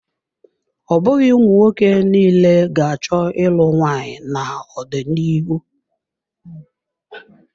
Ọ bụghị ụmụnwoke niile ga-achọ ịlụ nwaanyị n'ọdịnihu.